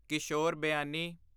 ਕਿਸ਼ੋਰ ਬਿਆਨੀ